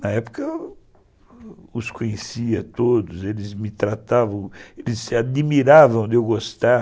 Na época eu os conhecia todos, eles me tratavam, eles se admiravam de eu gostar.